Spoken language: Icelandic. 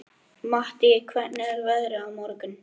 Mattý, hvernig er veðrið á morgun?